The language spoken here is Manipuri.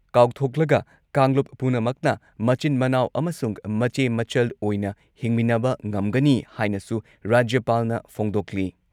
ꯀꯥꯎꯊꯣꯛꯂꯒ ꯀꯥꯡꯂꯨꯞ ꯄꯨꯝꯅꯃꯛꯅ ꯃꯆꯤꯟ ꯃꯅꯥꯎ ꯑꯃꯁꯨꯡ ꯃꯆꯦ ꯃꯆꯜ ꯑꯣꯏꯅ ꯍꯤꯡꯃꯤꯟꯅꯕ ꯉꯝꯒꯅꯤ ꯍꯥꯏꯅꯁꯨ ꯔꯥꯖ꯭ꯌꯄꯥꯜꯅ ꯐꯣꯡꯗꯣꯛꯂꯤ꯫